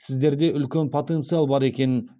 сіздерде үлкен потенциал бар екенін